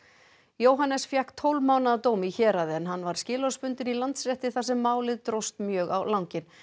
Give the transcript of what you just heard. Jóhannes fékk tólf mánaða dóm í héraði en hann var skilorðsbundinn í Landsrétti þar sem málið dróst mjög á langinn